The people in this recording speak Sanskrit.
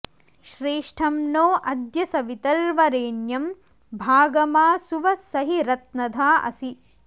श्रेष्ठं॑ नो अ॒द्य स॑वित॒र्वरे॑ण्यं भा॒गमा सु॑व॒ स हि र॑त्न॒धा असि॑